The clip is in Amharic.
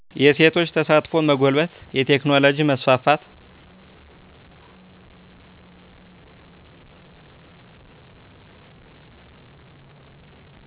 የሴቶች ተሳትፎ መጎልበት የቴክኖሎጂ መስፋፋት